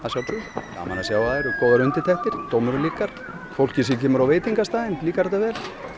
sjá að það eru góðar undirtektir dómurum líkar fólkið sem kemur á veitingastaðinn líkar þetta vel